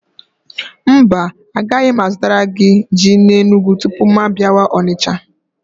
Mba, agaghị m azụtara gị ji n'Enugwu tupu mụ abịawa Onicha?